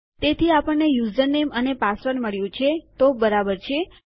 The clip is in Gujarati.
તેથી આપણને યુઝરનેમ અને પાસવર્ડ મળ્યું છે તો બરાબર છે